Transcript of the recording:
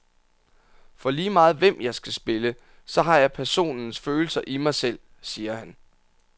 For lige meget hvem jeg skal spille, så har jeg personens følelser i mig selv, siger han.